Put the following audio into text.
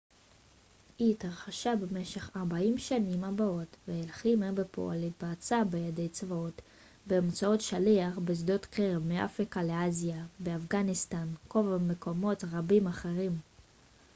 היא התרחשה במשך 40 השנים הבאות והלחימה בפועל התבצעה בידי צבאות באמצעות שליח בשדות קרב מאפריקה לאסיה באפגניסטן קובה ומקומות רבים אחרים